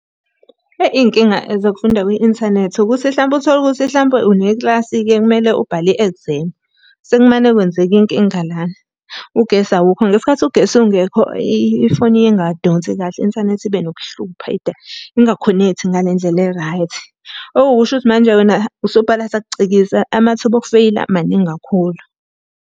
Eyi iy'nkinga zokufunda kwi-inthanethi ukuthi hlampe uthole ukuthi hlampe unekilasi-ke kumele ubhale i-exam. Sekumane kwenzeke inkinga lana. Ugesi awukho, ngesikhathi ugesi ungekho ifoni ingadonsi kahle i-inthanethi ibe nokuhlupha ingakhonekthi ngale ndlela e-right. Okuwukusho ukuthi manje wena usubhala sakucikiza, amathuba okufeyila maningi kakhulu.